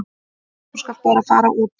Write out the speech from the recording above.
Þú skalt bara fara út.